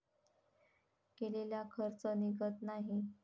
केलेला खर्च निघत नाही.